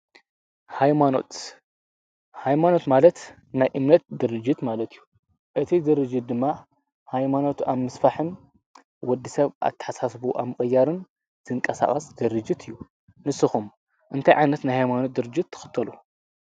ኃይማኖት ማለት ናይ እምነት ድርጅት ማለት እዩ እቲ ድርጅት ድማ ኃይማኖት ኣምስ ፋሕን ወዲ ሰብ ኣትሓሳስቡ ኣምቀያርን ዘንቀሳቐስ ድርጅት እዩ ንስኹም እንታይ ዓነት ናይሃይማኖት ድርጅት ትኽተሉ።